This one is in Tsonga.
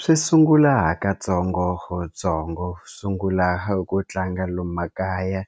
Swi sungula hakatsongotsongo sungula ku tlanga lomu makaya